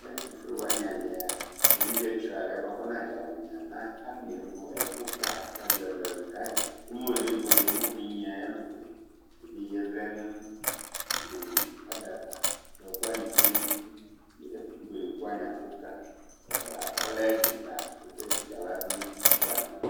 Nʋ ɛtʋfue wani ali yɛa, evidzetsɔ yalɩɛ bʋakʋ ɔnadza winia, mɛ afo nevu ɛkʋta ɛlʋ ɛlʋ ni kayi, kɔmayɔ nebuele, mɛ okenye ayʋ ɛlʋko yɛ Evidze yɛ vlɛ nʋ ada ava Bʋa ɛkʋ wani tsue nʋ uti, ibuele kʋ wani abʋ kayi Ɔlɛ ɛdɩ kayi, oke tsikǝ nʋ aɣla du nʋ ɛkʋ wani